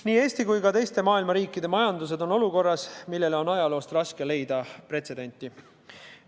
Nii Eesti kui ka teiste riikide majandus on olukorras, millele on ajaloost raske leida pretsedenti.